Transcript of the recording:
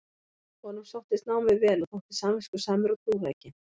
Honum sóttist námið vel og þótti samviskusamur og trúrækinn.